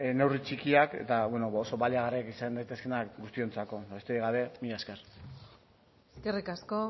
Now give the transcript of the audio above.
neurri txikiak eta bueno oso baliagarriak izan daitezkeenak guztiontzako besterik gabe mila esker eskerrik asko